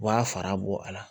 U b'a fara bɔ a la